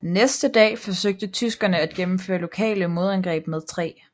Næste dag forsøgte tyskerne at gennemføre lokale modangreb med 3